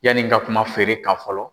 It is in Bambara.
Yanni n ka kuma feere kan fɔlɔ.